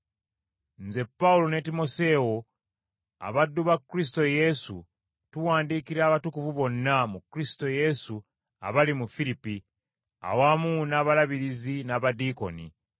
Nze Pawulo ne Timoseewo abaddu ba Kristo Yesu tuwandiikira abatukuvu bonna mu Kristo Yesu abali mu Firipi, awamu n’abalabirizi n’abadiikoni;